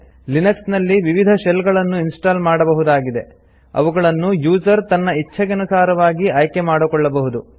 Linux ನಲ್ಲಿ ವಿವಿಧ shell ಗಳನ್ನು ಇನ್ಸ್ಟಾಲ್ ಮಾಡಬಹುದಾಗಿದೆ ಅವುಗಳನ್ನು ಯೂಸರ್ ತನ್ನ ಇಚ್ಛೆಗನುಸಾರವಾಗಿ ಆಯ್ಕೆ ಮಾಡಿಕೊಳ್ಳಬಹುದು